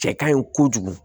Cɛ kaɲi kojugu